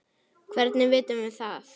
Hvernig vitum við það?